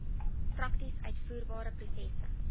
prakties uitvoerbare prosesse